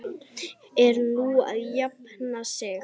Er hún að jafna sig?